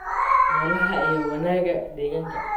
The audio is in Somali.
noolaha iyo wanaagga deegaanka.